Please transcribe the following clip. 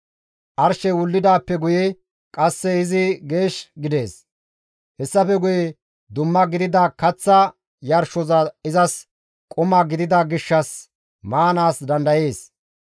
Arshey wullidaappe guye qasse izi geesh gidees; hessafe guye dumma gidida kaththa yarshoza izas quma gidida gishshas maanaas dandayees.